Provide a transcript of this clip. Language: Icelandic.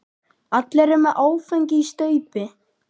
Allir eru með áfengi í staupi.